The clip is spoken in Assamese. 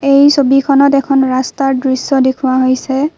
এই ছবিখনত এখন ৰাস্তাৰ দৃশ্য দেখুওৱা হৈছে।